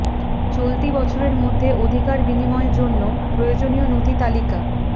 চলতি বছরের মধ্যে অধিকার বিনিময় জন্য প্রয়োজনীয় নথি তালিকা